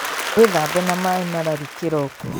Wĩthambe na maĩ mararu kĩroko